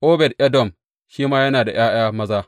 Obed Edom shi ma yana da ’ya’ya maza.